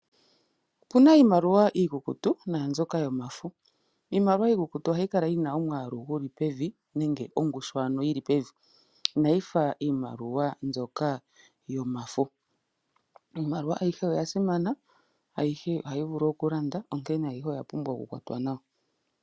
Opuna iimaliwa iikukutu naambyoka yomafo, iimaliwa iikukutu ohayi kala yina omwaalu guli pevi nenge ongushu ano yili pevi, inayifa ano mbyoka yomafo, iimaliwa ayihe oya simana ayihe ohayi vulu okulanda onkene ayihe oyapumbwa okukwatwa nawa.